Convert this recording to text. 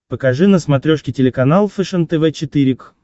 покажи на смотрешке телеканал фэшен тв четыре к